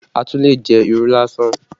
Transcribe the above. A tún lè jẹ irú lásán